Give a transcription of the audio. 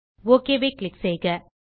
okay click செய்க